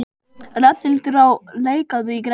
Rafnhildur, lækkaðu í græjunum.